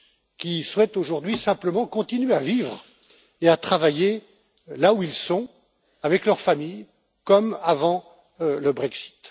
qui souhaitent aujourd'hui simplement continuer à vivre et à travailler là où ils sont, avec leur famille, comme avant le Brexit.